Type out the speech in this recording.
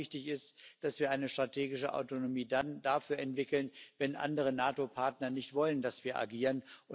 Aber wichtig ist auch, dass wir dann eine strategische Autonomie dafür entwickeln, wenn andere NATO Partner nicht wollen, dass wir agieren.